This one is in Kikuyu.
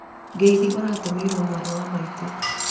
ngeithi ũratũmĩirwo mwarĩ wa maitũ